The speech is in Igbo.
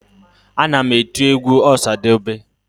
Ana m eti egwu ọsadebe